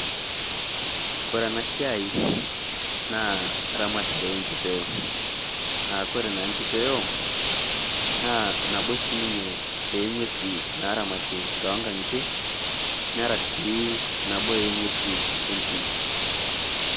Kore ena siai naa ramatare e nchiipeo aa kore naa nchiipeo naa nabo shii ninyee e enwuesi naaramati to nkaanyitei neraa sii naboo e nwuesi entiim.